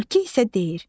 Tülkü isə deyir: